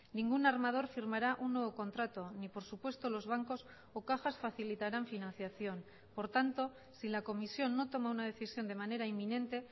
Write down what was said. ningún armador firmará un nuevo contrato ni por supuesto los bancos o cajas facilitarán financiación por tanto si la comisión no toma una decisión de manera inminente